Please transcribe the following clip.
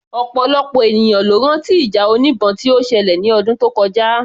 Ọ̀pọ̀lọpọ̀ ènìyàn ló rán tí ìjà oníbọn tí ó ṣẹlẹ̀ ní ọdún tó kọjá